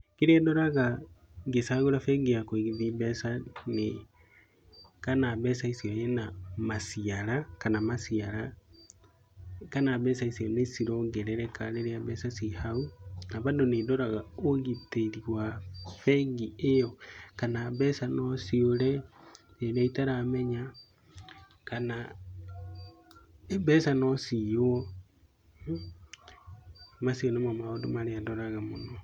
Kĩrĩa ndoraga ngĩcagũra bengi ya kũigithia mbeca nĩ kana mbeca icio ina maciara kana maciara, kana mbeca icio nĩcirongerereka. Na bandũ nĩndoraga ũgitĩri wa bengi ĩyo, kana mbeca nociũre rĩrĩa itaramenya kana mbeca nociywo. Macio nĩmo maũndũ marĩa ndoraga mũno.